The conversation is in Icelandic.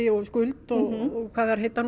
skuld og hvað þær heita nú